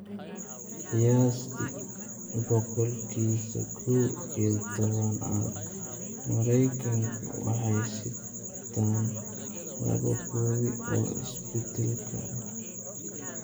Qiyaastii boqolkiba kow iyo tooban dadka Maraykanku waxay sitaan laba koobi oo isbeddelkan ah.